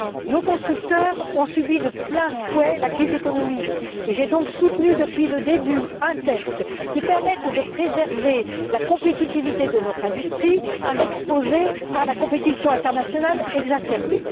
Nos constructeurs ont subi de plein fouet la crise économique, et j'ai donc soutenu depuis le début un texte qui permette de préserver la compétitivité de notre industrie exposée à la compétition internationale exacerbée.